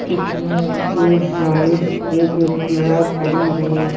इसमें एक बाइक एक एक्टिवा खड़ी है।